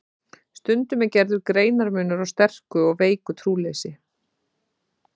Stundum er gerður greinarmunur á sterku og veiku trúleysi.